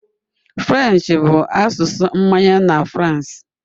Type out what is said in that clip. French bụ asụsụ mmanye na France.